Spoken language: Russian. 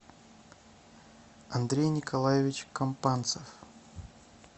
андрей николаевич компанцев